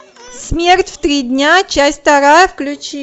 смерть в три дня часть вторая включи